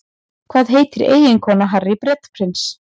Hvað heitir eiginkona Harry Bretaprins?